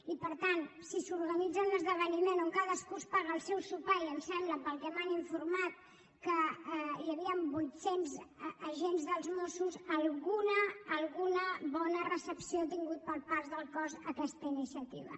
i per tant si s’organitza un esdeveniment on cadascú es paga el seu sopar i em sembla pel que m’han informat que hi havien vuitcents agents dels mossos alguna bona recepció ha tingut per part del cos aquesta iniciativa